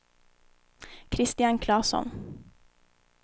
Kristian Klasson